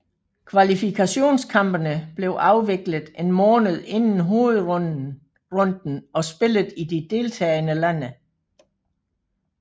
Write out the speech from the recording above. Kvalifikationskampene blev afviklet en måned inden hovedrunden og spillet i de deltagende lande